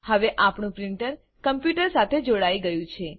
હવે આપણું printer computer સાથે જોડાઈ ગયું છે